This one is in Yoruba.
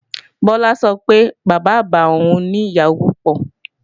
Bọlá sọ pé Bàbá-àgbà òun ni ìyàwó púpọ̀